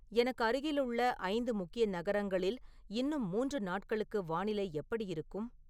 எனக்கு அருகிலுள்ள ஐந்து முக்கிய நகரங்களில் இன்னும் மூன்று நாட்களுக்கு வானிலை எப்படி இருக்கும்